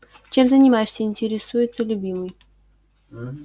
чем занимаешься интересуется любимый